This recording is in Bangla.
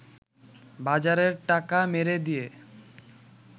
বাজারের টাকা মেরে দিয়ে